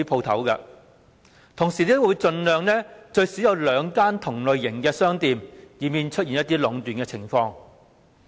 同時亦會盡量安排最少有兩間同類型的商店，以免出現壟斷的情況。